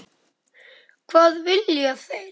Hvað vilja þeir?